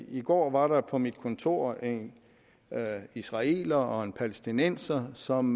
i går var der på mit kontor en israeler og en palæstinenser som